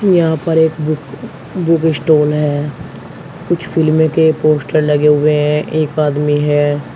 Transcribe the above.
यहां पर एक बु बुक स्टॉल है कुछ फिल्मे के पोस्टर लगे हुए हैं एक आदमी है।